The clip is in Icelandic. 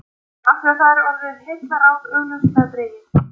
Af því er orðið heillaráð augljóslega dregið.